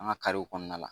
An ka karew kɔnɔna la